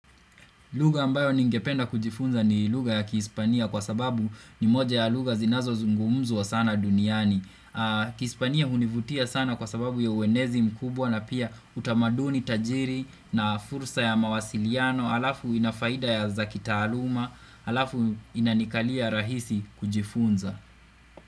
Lugha ambayo ningependa kujifunza ni lugha ya kihispania kwa sababu ni moja ya lugha zinazozungumzwa sana duniani. Kihispania hunivutia sana kwa sababu ya uenezi mkubwa na pia utamaduni tajiri na fursa ya mawasiliano, halafu ina faida ya za kitaaluma, halafu inanikalia rahisi kujifunza.